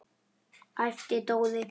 æpti Dóri.